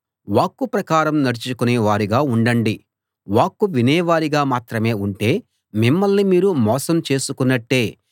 వాక్కు ప్రకారం నడుచుకునే వారుగా ఉండండి వాక్కు వినేవారిగా మాత్రమే ఉంటే మిమ్మల్ని మీరు మోసం చేసుకున్నట్టే